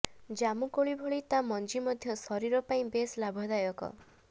ଜାମୁକୋଳି ଭଳି ତା ମଞ୍ଜି ମଧ୍ୟ ଶରୀର ପାଇଁ ବେଶ୍ ଲାଭଦାୟକ